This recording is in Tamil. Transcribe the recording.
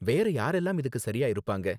வேற யாரெல்லாம் இதுக்கு சரியா இருப்பாங்க?